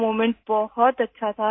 وہ لمحہ بہت اچھا تھا